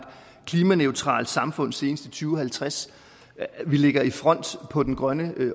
klimaneutralt samfund senest i to tusind og halvtreds og vi ligger i front på den grønne